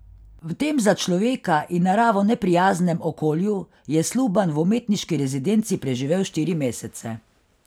V tem za človeka in naravo neprijaznem okolju je Sluban v umetniški rezidenci preživel štiri mesece.